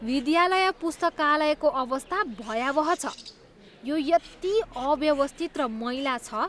विद्यालय पुस्तकालयको अवस्था भयावह छ, यो यति अव्यवस्थित र मैला छ।